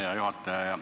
Hea juhataja!